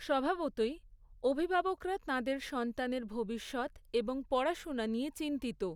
স্বভাবতঃই অভিভাবকরা তাঁদের সন্তানের ভবিষ্যৎ এবং পড়াশুনা নিয়ে চিন্তিত।